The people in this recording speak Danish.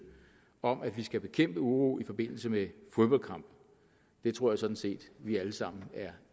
om at vi skal bekæmpe uro i forbindelse med fodboldkampe det tror jeg sådan set vi alle sammen er